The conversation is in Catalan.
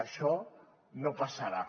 això no passarà